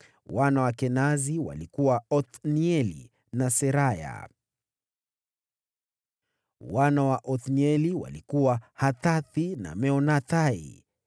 Wana wa Kenazi walikuwa: Othnieli na Seraya. Wana wa Othnieli walikuwa: Hathathi na Meonathai.